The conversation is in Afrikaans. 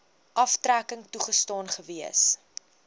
aftrekking toegestaan gewees